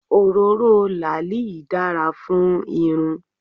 Òróró làálì dára fún irun.